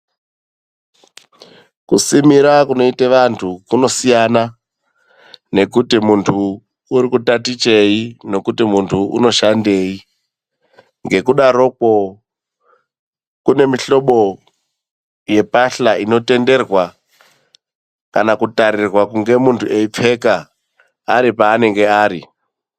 Kusimira kunoite vantu kunosiyana nekuti muntu urikutatichei, nokuti munhu unoshandei, ngekudarokwo kune mihlobo yepahla inotenderwa kana kutarirwa kunge munhu eipfeka ari paanenge ari.